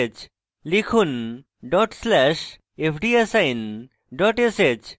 লিখুন: dot slash fdassign dot sh